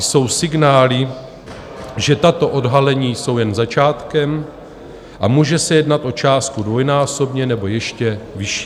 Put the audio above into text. Jsou signály, že tato odhalení jsou jen začátkem a může se jednat o částku dvojnásobně nebo ještě vyšší.